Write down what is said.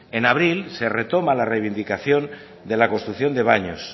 en abril se retoma la reivindicación de la construcción de baños